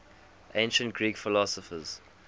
ancient greek philosophers